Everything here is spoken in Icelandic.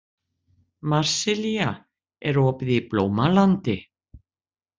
Marsilía, er opið í Blómalandi?